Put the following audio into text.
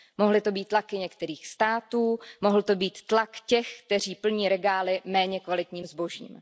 Mohly to být tlaky některých států, mohl to být tlak těch, kteří plní regály méně kvalitním zbožím.